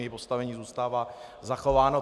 Její postavení zůstává zachováno.